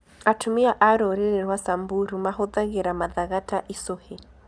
Atumia a rũrĩrĩ rwa Samburu mahũthagĩra mathaga ta icũhĩ.